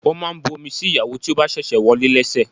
Wọ́n máa ń bu omi sí ìyàwó tí ó bá ṣẹ̀ṣẹ̀ wọlé lẹ́sẹ̀.